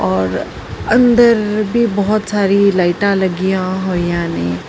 ਹੋਰ ਅੰਦਰ ਵੀ ਬਹੁਤ ਸਾਰੀ ਲਾਈਟਾਂ ਲੱਗੀਆਂ ਹੋਈਆਂ ਨੇ।